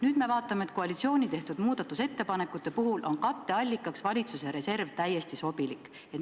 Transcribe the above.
Nüüd me vaatame, et koalitsiooni tehtud muudatusettepanekute katteallikaks on valitsuse reserv täiesti sobilik.